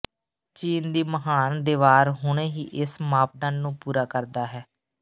ਚੀਨ ਦੀ ਮਹਾਨ ਦਿਵਾਰ ਹੁਣੇ ਹੀ ਇਸ ਮਾਪਦੰਡ ਨੂੰ ਪੂਰਾ ਕਰਦਾ ਹੈ